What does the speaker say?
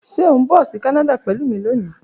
Ṣe o n bọ si Kanada pẹlu mi loni?